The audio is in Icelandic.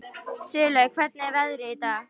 Sigurlaug, hvernig er veðrið í dag?